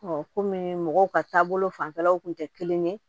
kɔmi mɔgɔw ka taabolo fanfɛlaw kun tɛ kelen ye